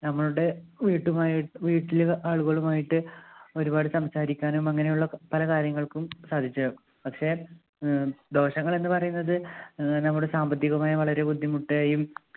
ഞമ്മളുടെ വീട്ടുമായിട്ട് വീട്ടിലെ ആളുകളുമായിട്ട് ഒരുപാട് സംസാരിക്കാനും അങ്ങനെയുള്ള പല കാര്യങ്ങൾക്കും സാധിച്ച് പക്ഷെ ഏർ ദോഷങ്ങളെന്ന് പറയുന്നത് അഹ് നമ്മുടെ സാമ്പത്തികമായി വളരെ ബുദ്ധിമുട്ടേയും